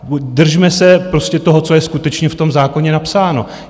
Držme se prostě toho, co je skutečně v tom zákoně napsáno.